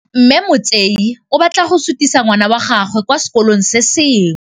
Mme Motsei o batla go sutisa ngwana wa gagwe kwa sekolong se sengwe.